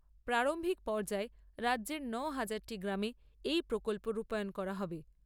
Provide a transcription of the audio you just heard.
প্রারম্ভিক পর্যায়ে রাজ্যের নয় হাজারটি গ্রামে এই প্রকল্প রূপায়ন করা হবে।